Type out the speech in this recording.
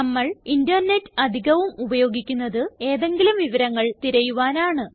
നമ്മൾ ഇന്റർനെറ്റ് അധികവും ഉപയോഗിക്കുന്നത് ഏതെങ്കിലും വിവരങ്ങൾ തിരയുവാനാണ്